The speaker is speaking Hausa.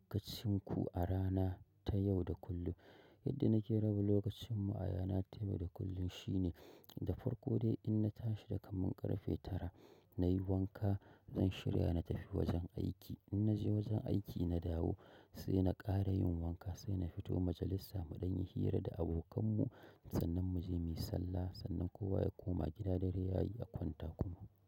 Kacinku a rana ta yau da kullum. Yadda na ke raba lokacinmu arana ta yau da kullum shine, da farko dai in na tashi dakaman ƙarfe tara na yi wanka, zan shirya na tafi wajen aiki. In na je wajen aiki na dawo sai na ƙara yin wanka sai na fito majalisa mu ɗan in yi hira da abokan mu, sannan mu je muyi sallah, sannan kowa ya koma gida dare yayi a kwanta kuma.